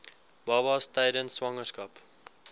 babas tydens swangerskap